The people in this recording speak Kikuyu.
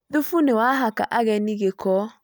Thũfu nĩ wahaka ageni gĩko